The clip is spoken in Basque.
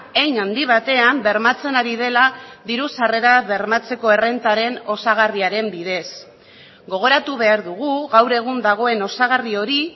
hein handi batean bermatzen ari dela diru sarrera bermatzeko errentaren osagarriaren bidez gogoratu behar dugu gaur egun dagoen osagarri hori